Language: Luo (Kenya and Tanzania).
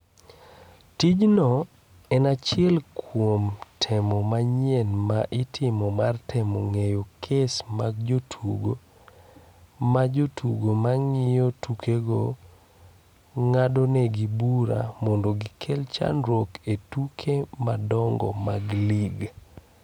Tijno en achiel kuom temo manyien ma itimo mar temo ng'enyo kes mag jotugo ma jotugo ma ng’iyo tukego ng’adonegi bura mondo gikel chandruok e tuke madongo mag ligi.